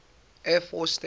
air force station